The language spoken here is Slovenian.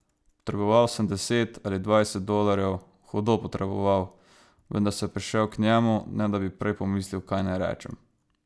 Potreboval sem deset ali dvajset dolarjev, hudo potreboval, vendar sem prišel k njemu, ne da bi prej pomislil, kaj naj rečem.